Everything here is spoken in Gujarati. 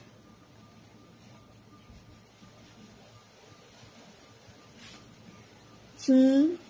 ચૂ